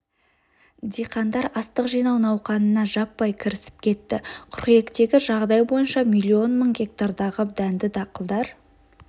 диқандар астық жинау науқанына жаппай кірісіп кетті қыркүйектегі жағдай бойынша млн мың гектардағы дәнді дақылдар